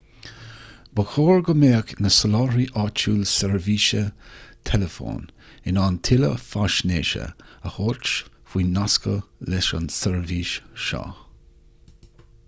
ba chóir go mbeadh do sholáthraí áitiúil seirbhíse teileafóin in ann tuilleadh faisnéise a thabhairt faoi nascadh leis an tseirbhís seo